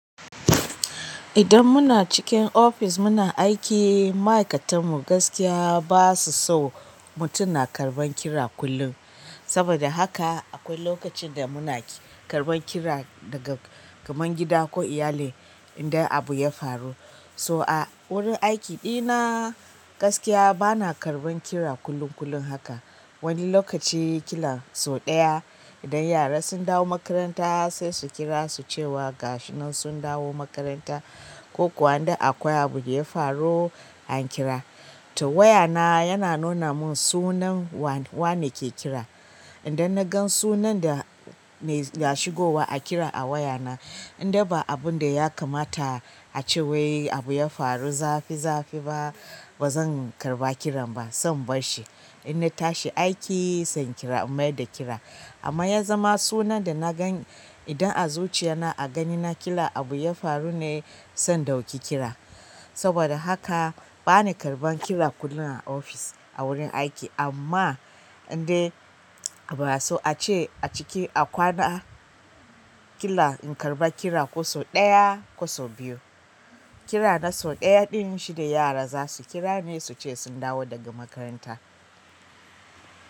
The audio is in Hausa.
Idan muna cikin ofis muna aiki, ma'aikatan mu gaskiya ba su so mutum na karɓan kira kullum. Saboda haka akwai lokacin da muna karɓan kira daga kaman gida ko iyali idan abu ya faru. To a wurin aiki ɗina gaskiya bana karɓan kira kamar kullum kullum haka wani lokaci ƙila sau ɗaya idan yara sun dawo makaranta sai su kira su ce wa gasu nan sun dawo makaranta ko kuwa idan akwai abu da ya faru an kira. To waya na yana nuna mun sunan wa-wane ke kira. Idan na gan sunan da mai ya shigowa a kira a waya na, idai ba abun da ya kamata a cewai abu ya faru zafi zafi ba, bazan karɓa kiran ba, zan barshi. Idan na tashi aiki sai in kira, in mai da kira. Amma ya zama sunan da na gan idan a zuciya na a gani na ƙila abu ya faru ne, zan ɗauki kira. Saboda haka bani karɓan kira kullum a ofis a wurin aiki amma idai abu a so a ce a ciki a kwana ƙila in karɓa kira ko sau ɗaya ko sau biyu. Kira na sau ɗaya ɗin shi ne yara za su kira ne su ce sun dawo daga makaranta.